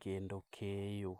kendo keyo.